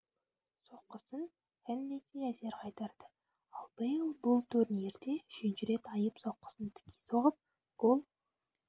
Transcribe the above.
соққысын хеннеси әзер қайтарды ал бейл бұл турнирде үшінші рет айып соққысын тіке соғып гол